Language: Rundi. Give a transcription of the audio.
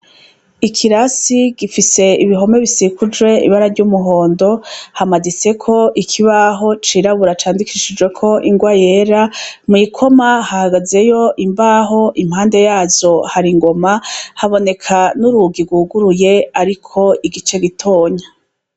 Ikirasi gifise ibihome bisikujwe ibara ry'umuhondo, hamaditseko ikibaho cirabura candikishijweko ingwa yera, mwikoma hahagazeyo imbaho impene yazo har'ingoma, haboneka n'urugi rwuguruye ariko igice gitoyi.